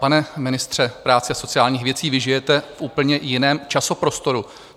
Pane ministře práce a sociálních věcí, vy žijete v úplně jiném časoprostoru.